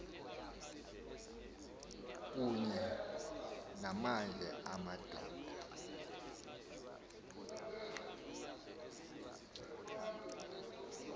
kunye namanye amadoda